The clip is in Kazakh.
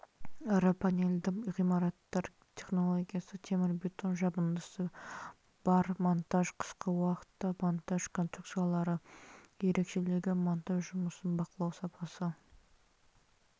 ірі панельді ғимараттар технологиясы темірбетон жабындысы бар монтаж қысқы уақытта монтаж конструкциялары ерекшелігі монтаж жұмысын бақылау сапасы